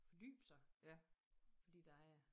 Fordybe sig fordi der er